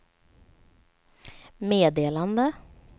meddelande